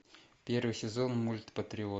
первый сезон мульт патриот